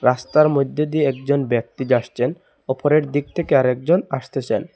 রাস্তার মধ্যে দিয়ে একজন ব্যক্তি জাসছেন ওপরের দিক থেকে আর একজন আসতেছেন।